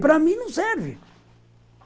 Para mim, não serve.